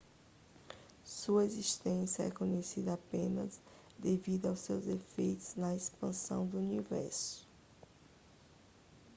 sua existência é conhecida apenas devido aos seus efeitos na expansão do universo